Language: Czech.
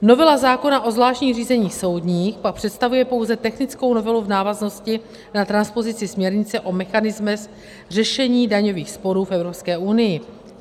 Novela zákona o zvláštních řízeních soudních pak představuje pouze technickou novelu v návaznosti na transpozici směrnice o mechanismech řešení daňových sporů v EU.